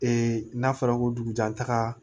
Ee n'a fɔra ko dugujɛtaga